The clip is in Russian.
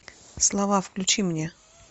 слова включи мне